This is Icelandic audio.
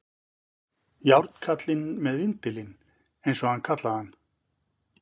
Járnkallinn með vindilinn, eins og hann kallaði hann.